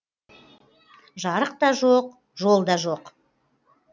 жарық та жоқ жол да жоқ